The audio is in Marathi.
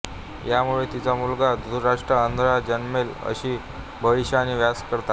यामुळे तिचा मुलगा धृतराष्ट्र अंधळा जन्मेल अशी भविष्यवाणी व्यास करतात